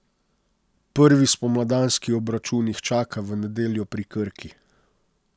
Prvi spomladanski obračun jih čaka v nedeljo pri Krki.